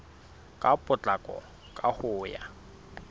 ka potlako ka ho ya